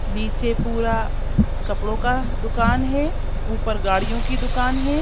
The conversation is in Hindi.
नीचे पूरा कपड़ों का दुकान है ऊपर गाड़ियों की दुकान हैं ।